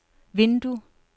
vindue